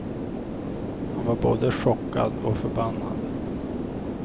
Han var både chockad och förbannad.